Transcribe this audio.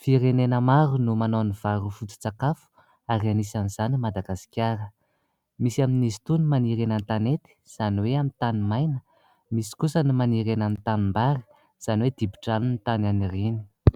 Firenena maro no manao ny vary hoe foto-tsakafo ary anisan'izany i Madagasikara. Misy amin'izy itony maniry eny an-tanety izany hoe amin'ny tany maina, misy kosa ny maniry eny amin'ny tanimbary izany hoe dibo-drano ny tany aniriany.